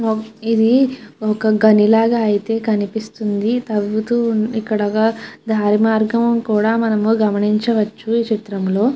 ఇది ఒక గని లాగా అయతె కనిపిస్తుంది. తవుతూ ఉంది ఇక్కడ దరిమరాగం కూడా గమనించ వచ్చు ఈ చిఇత్రంలొ.